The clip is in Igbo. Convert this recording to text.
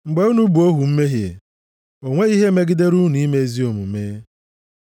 Mgbe unu bụ ohu mmehie, o nweghị ihe megidere unu ime ezi omume.